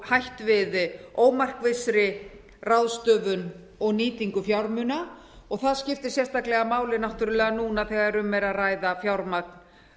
hætt við ómarkvissri ráðstöfun og nýtingu fjármuna og það skiptir náttúrlega máli sérstaklega núna þegar um er að ræða fjármagn